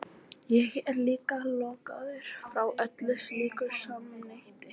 Ég er líka lokaður frá öllu slíku samneyti hér.